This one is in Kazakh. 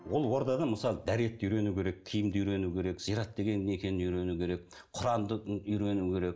ол ордада мысалы дәретті үйрену керек киімді үйрену керек зиярат деген не екенін үйрену керек құранды үйрену керек